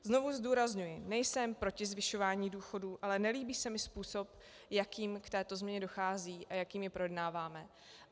Znovu zdůrazňuji, nejsem proti zvyšování důchodů, ale nelíbí se mi způsob, jakým k této změně dochází a jakým ji projednáváme.